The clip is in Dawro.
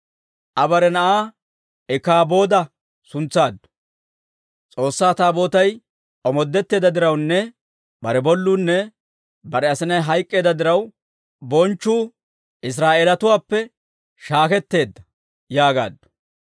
Aa bare na'aa Ikaabooda suntsaaddu; S'oossaa Taabootay omoodetteedda dirawunne bare bolluunne bare asinay hayk'k'eedda diraw, «Bonchchuu Israa'eelatuwaappe shaakketeedda» yaagaaddu.